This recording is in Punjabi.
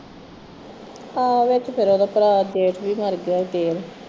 ਹਾ ਉਹ ਤੇ ਫਿਰ ਉਹਦੇ ਭਰਾ ਦਾ ਜੇਠ ਵੀ ਮਰ ਗਿਆ ਫਿਰ